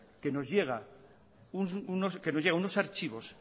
que nos llegan unos archivos